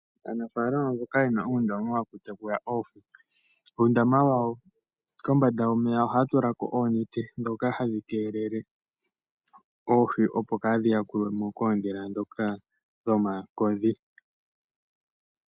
Aanafalama mboka yena uundama wokutekula oohi ohaya tula oonete kombanda wawo dhoka hadhi keelele oohi opo kadhi yakulwemo kooshila dhoka dhomakodhi.